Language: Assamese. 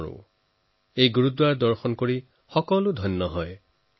সকলোৱে এই গুৰুদ্বাৰালৈ যাবলৈ পালে নিজকে ধন্য বুলি ভাৱে